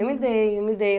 mudei, eu mudei.